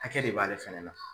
Hakɛ de b'ale fɛnɛ na.